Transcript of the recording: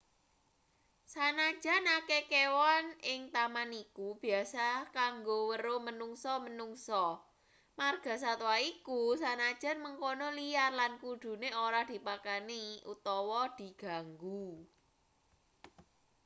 sanajan akeh kewan ing taman iku biasa kanggo weruh menungsa-menungsa margasatwa iku sanajan mengkono liar lan kudune ora dipakani utawa diganggu